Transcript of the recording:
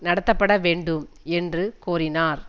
நடத்தப்பட வேண்டும் என்று கோரினார்